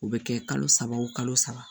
O bɛ kɛ kalo saba o kalo saba